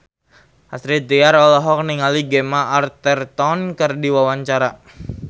Astrid Tiar olohok ningali Gemma Arterton keur diwawancara